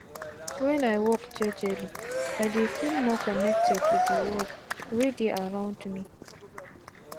wen i walk jejeli i dey feel more connected to de world wey dey around me.